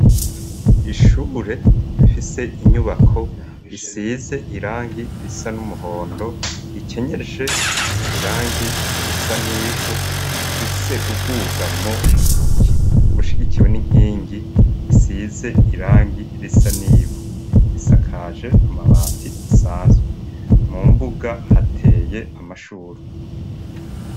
Ishure bifise inyubako isize irangi risa n'umuhondo ikenyeje irangi risa n'ivu fise uguga mo bushigikiwe n'inkingi isize irangi risa n'ivu isakaje amabati asanzwe mu mbuga hateye amashurwa.